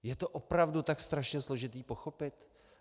Je to opravdu tak strašně složité pochopit?